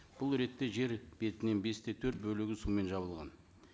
бұл ретте жер бетінен бес те төрт бөлігі сумен жабылған